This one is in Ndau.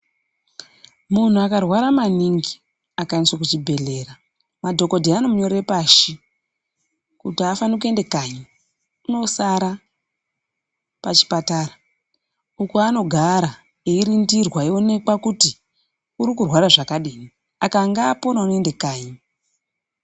Munhu akarwara maningi akaendeswa kuchibhedhlera madhokodheya anomunyorera pashi kuti afani kuende kanyi unosara pachipatara uko kwanogara eirindirwa eionekwa kuti urikurwara zvakadini akanga apona unoende kanyi.